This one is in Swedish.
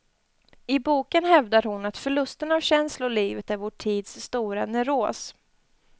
I boken hävdar hon att förlusten av känslolivet är vår tids stora neuros.